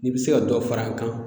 N'i bɛ se ka dɔ fara an kan